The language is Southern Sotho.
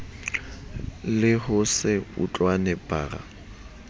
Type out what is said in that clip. le ho se utlwane bara